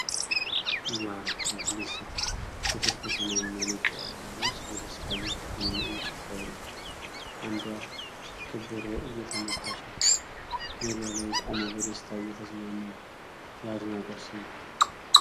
ዋው ሲያስደስት! ሴቶች በሰማያዊና ነጭ ባህላዊ ልብስ በደስታ እየዘፈኑና እየጨፈሩ ነው። አንዷ ክ በሮ እየመታች ነው። ሜዳ ላይ ቆመው በደስታ እየተዝናኑ ነው። የአድናቆት ስሜት!